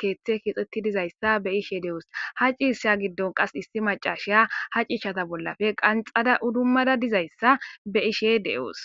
keethey kexeti dizaysa be'ishe de'os, ga ciishata giddon qai issi macashiya qanxada urumada dizaysa be'ashe de'osi